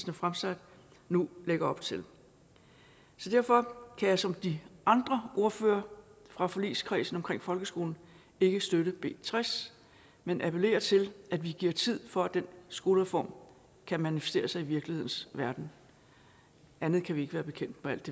har fremsat nu lægger op til så derfor kan jeg som de andre ordførere fra forligskredsen omkring folkeskolen ikke støtte b tres men appellerer til at vi giver tid for at den skolereform kan manifestere sig i virkelighedens verden andet kan vi ikke være bekendt med alt